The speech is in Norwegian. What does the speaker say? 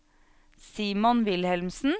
Simon Wilhelmsen